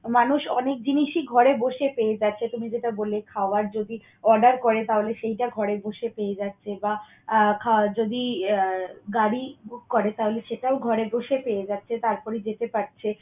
মানুষ অনেক জিনিসই ঘরে বসে পেয়ে যাচ্ছে। তুমি যেটা বললে, খাওয়ার যদি order করে তাহলে সেইটা ঘরে বসে পেয়ে যাচ্ছে বা আহ খাওয়ার যদি আহ গাড়ি book করে তাহলে সেটাও ঘরে বসে পেয়ে যাচ্ছে তারপরে যেতে পারছে।